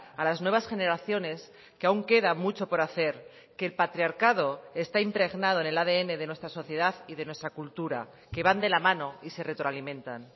a las nuevas generaciones que aún queda mucho por hacer que el patriarcado está impregnado en el adn de nuestra sociedad y de nuestra cultura que van de la mano y se retroalimentan